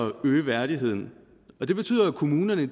øge værdigheden det betyder at kommunerne